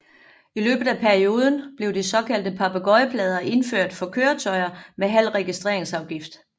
I løbet af perioden blev de såkaldte papegøjeplader indført for køretøjer med halv registreringsafgift